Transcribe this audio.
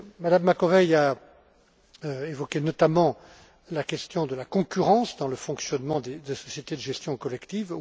Mme Macovei a évoqué notamment la question de la concurrence dans le fonctionnement des sociétés de gestion collective.